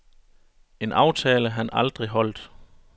En aftale, han aldrig holdt.